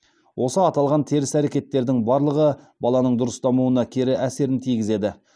осы аталған теріс әрекеттердің барлығы баланың дұрыс дамуына кері әсерін тигізеді